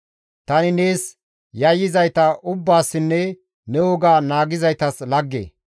Tani nees yayyizayta ubbaassinne ne woga naagizaytas lagge.